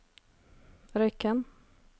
Røyken